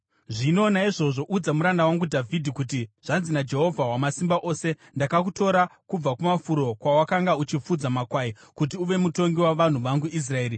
“Zvino naizvozvo udza muranda wangu Dhavhidhi kuti, ‘Zvanzi naJehovha Wamasimba Ose: Ndakakutora kubva kumafuro kwawakanga uchifudza makwai, kuti uve mutongi wavanhu vangu Israeri.